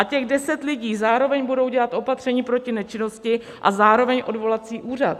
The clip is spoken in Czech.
A těch deset lidí zároveň bude dělat opatření proti nečinnosti a zároveň odvolací úřad.